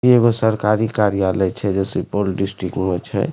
इ एगो सरकारी कार्यालय छै जे सुपौल डिस्ट्रिक्ट में छै।